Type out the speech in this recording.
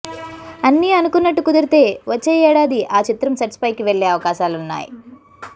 అన్నీ అనుకొన్నట్టు కుదిరితే వచ్చే యేడాది ఆ చిత్రం సెట్స్పైకి వెళ్లే అవకాశాలున్నాయి